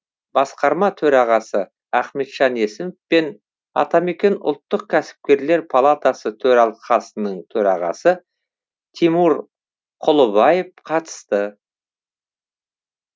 басқарма төрағасы ахметжан есімов пен атамекен ұлттық кәсіпкерлер палатасы төралқасының төрағасы тимур кұлыбаев қатысты